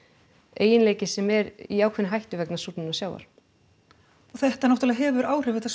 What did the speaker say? eiginleiki sem er í ákveðinni hættu vegna súrnunar sjávar og þetta náttúrulega hefur áhrif þetta